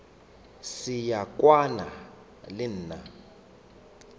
se wa kwana le nna